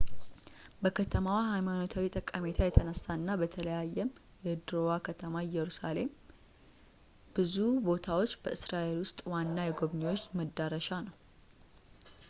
በከተማዋ ሀይማኖታዊ ጠቀሜታ የተነሳ እና በተለየም የድሮዋ ከተማ ኢየሩሳሌም ብዙ ቦታዎች በእስራኤል ውስጥ ዋና የጎብኚዎች መዳረሻ ነው